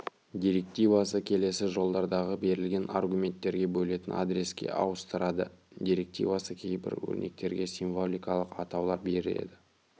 директивасы келесі жолдардағы берілген аргументтерге бөлетін адреске ауыстырады директивасы кейбір өрнектерге символикалық атаулар береді